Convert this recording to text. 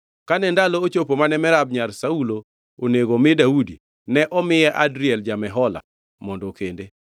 Kane ndalo ochopo mane Merab nyar Saulo onego omi Daudi, ne omiye Adriel ja-Mehola mondo okende.